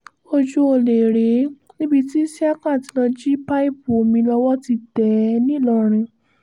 ojú ọ̀lẹ rèé níbi tí ísíákà ti lọ́ọ́ jí pípù omi lọ́wọ́ ti tẹ̀ ẹ́ nìlọrin